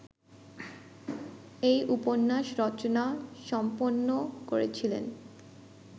এই উপন্যাস রচনা সম্পন্ন করেছিলেন